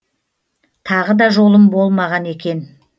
тағы да жолым болмаған екен